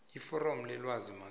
iforomo lelwazi mazombe